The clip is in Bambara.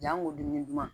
Janko dumuni duman